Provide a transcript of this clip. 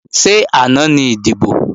Ṣé àná ni ìdìbò?